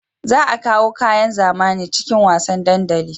Za a kawo kayan zamani cikin wasan dandali